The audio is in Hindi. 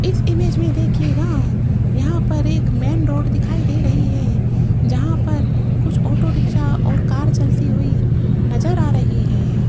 इस इमेज में देखिएगा यहां पर एक मेन रोड दिखाई दे रही है जहां पर कुछ ऑटो रिक्शा और कार चलती हुई नजर आ रही है।